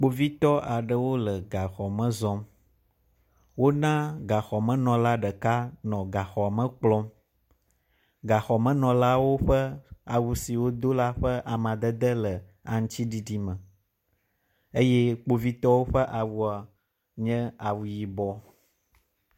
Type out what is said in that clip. Kpovitɔ aɖewo le gaxɔ me zɔm. wo na gaxɔmenɔla ɖeka nɔ gaxɔ me kplɔm. Gaxɔmenɔla ƒe awu si wodo la ƒe amadede le aŋtsiɖiɖi eye kpovitɔwo ƒe awua nye awu yibɔ.